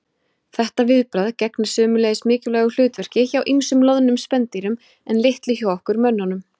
Þetta viðbragð gegnir sömuleiðis mikilvægu hlutverki hjá ýmsum loðnum spendýrum en litlu hjá okkur mönnunum.